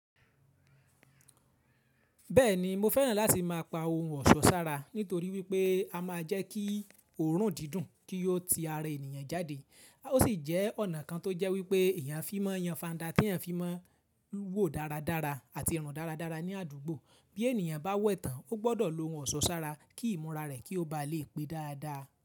Bẹ́ẹ̀ni mo fẹ́ràn láti má a pa ohun ọ̀ṣọ́ sára nítorí wípé a má a jẹ́ kí òórùn dídùn kí yóò ti ara ènìyàn jáde. Ó sì jẹ́ ọ̀nà kan tó jẹ́ wípé eyán fímọ́ yanfa ńda tí ìyàn fímọ́ lúwò dáradára àti rùn dáradára ní àdúgbò. Bí ènìyàn bá wẹ̀tàn ó gbọ́dọ̀ lo ohun ọ̀ṣọ́ sára kí ìmúra rẹ̀ kí ó ba lè pé dáadáa.